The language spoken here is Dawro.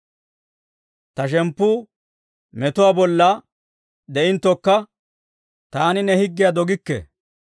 Ta shemppu metuwaa bollaa de'inttokka, taani ne higgiyaa dogikke.